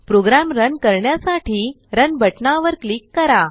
programme run करण्यासाठी run बटनावर click करा